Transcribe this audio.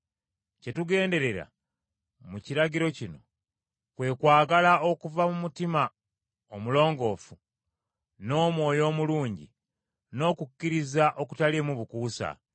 Kye tugenderera mu kiragiro kino, kwe kwagala okuva mu mutima omulongoofu, n’omwoyo omulungi, n’okukkiriza okutaliimu bukuusa.